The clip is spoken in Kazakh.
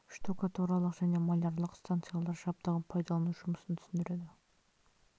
штукатуралық және малярлық станциялар жабдығын пайдалану жұмысын түсіндіреді